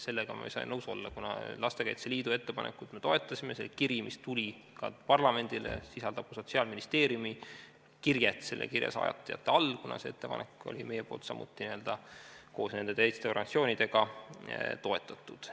Sellega ei saa ma nõus olla, kuna Lastekaitse Liidu ettepanekut me toetasime, see oli kiri, mis tuli ka parlamendile, see sisaldab ka Sotsiaalministeeriumi kirjet kirja saatjate hulgas, kuna seda ettepanekut meie koos nende teiste organisatsioonidega toetasime.